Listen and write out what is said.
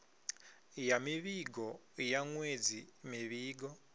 ya mivhigo ya ṅwedzi mivhigo